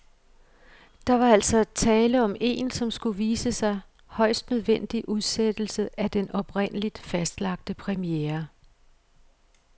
Der var altså tale om en, som det skulle vise sig, højst nødvendig udsættelse af den oprindeligt fastlagte premiere.